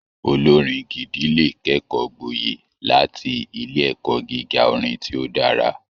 Olorin gidi lè kẹkọọ gbọye láti ilé ẹkọ gíga orin ti o dára.